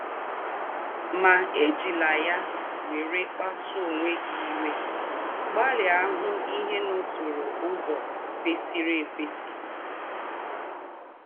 Mà èjị̀lá yá wèrè kpásụ́ọ̀ ónwẹ̀ gị̀ íwè; gbalị̀à hū̄ íhè n’ọ̌tụ̣rụ̣ ứzọ̀ kwesìrì íkwesí.